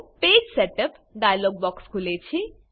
page setup dialogue box ખુલે છે